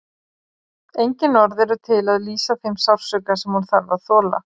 Engin orð eru til að lýsa þeim sársauka sem hún þarf að þola.